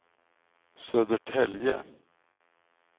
Södertälje